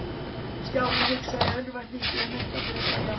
Stjáni hugsaði í örvæntingu um eitthvað til að segja.